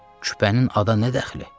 Küpənin ada nə dəxli?